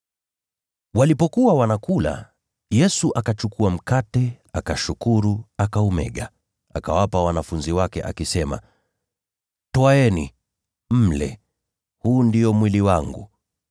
Walipokuwa wanakula, Yesu akachukua mkate, akashukuru, akaumega, na kuwapa wanafunzi wake, akisema, “Twaeni, mle; huu ndio mwili wangu.”